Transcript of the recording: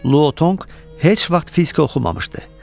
Lu Tonq heç vaxt fizika oxumamışdı.